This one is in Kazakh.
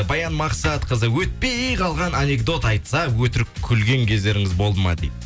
баян мақсатқызы өтпей қалған анекдот айтса өтірік күлген кездеріңіз болды ма дейді